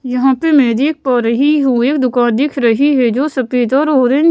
यहाँ पे मैं देख पा रही हूँ एक दुकान दिख रही है जो सफेद और ऑरेंज --